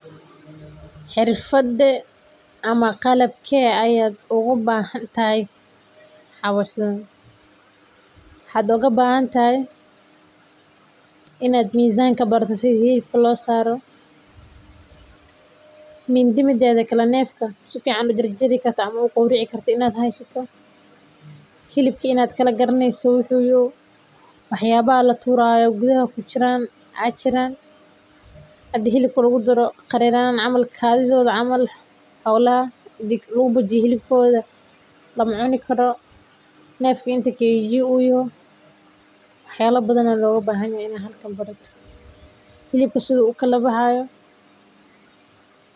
Xirfadee ama qalabkee ayaa uga baahantahay howshaan? Waxaad oga baahantay inaad mizaanka barata sida hilibka loo saaro, mindi mideeda kale neefka sifican ujarjari karto ama uqowrici karto inaad haysato, hilibka inaad kala garaneyso wuxuu yahay, wax yaawaha laturaayo gudaha kujiro aa jiraan hadii hilibka lagu daro qareraanaayaan kadidooda camal xolaha hadii lagu bujiyo hilibkooda lama cuni karo, neefka inta kg uyaho wax yaala badan aa loga baahanyahay inaad hada barato, hilibka siduu ukala baxaayo